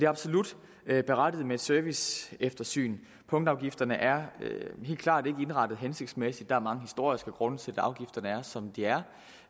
absolut berettiget med et serviceeftersyn punktafgifterne er helt klart ikke indrettet hensigtsmæssigt der er mange historiske grunde til at afgifterne er som de er